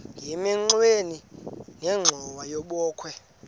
emagxeni nenxhowa yebokhwe